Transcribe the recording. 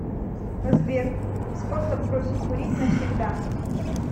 сбер способ бросить курить навсегда